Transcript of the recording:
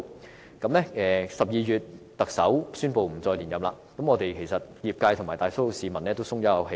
現任特首在12月宣布不再尋求連任後，業界和大多數市民也鬆了一口氣。